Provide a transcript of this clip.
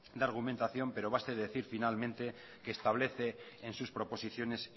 de argumentación pero basta decir finalmente que establece en sus proposiciones